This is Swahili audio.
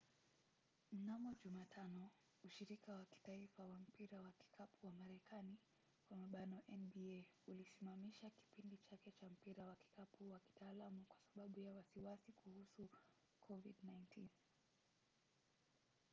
mnamo jumatano ushirika wa kitaifa wa mpira wa kikapu wa marekani nba ulisimamisha kipindi chake cha mpira wa kikapu wa kitaalamu kwa sababu ya wasiwasi kuhusu covid-19